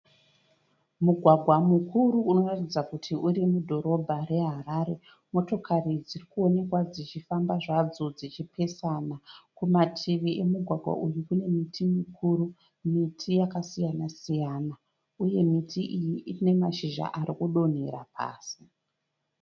Mugwagwa mukuru unoratidza kuti urimudhorobha reHarare. Motokari dzirikuonekwa dzichifamba zvadzo dzichipesana. Kumativi emugwagwa uyu kune miti mikuru, miti yakasiyana siyana. Uye miti iyi ine mashizha arikudonhera pasi.